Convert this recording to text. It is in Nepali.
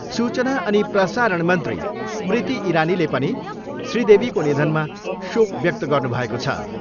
सूचना अनि प्रसारण मन्त्री स्मृति इरानीले पनि श्री देवीको निधनमा शोक व्यक्त गर्नु भएको छ।